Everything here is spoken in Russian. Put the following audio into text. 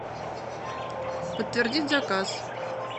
подтвердить заказ